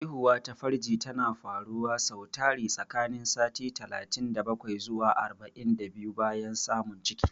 Haihuwa ta farji tana faruwa sau tari tsakanin sati talatin da bakwai zuwa arba'in da biyu bayan samun ciki.